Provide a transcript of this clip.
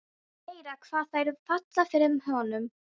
Meira hvað þær falla fyrir honum!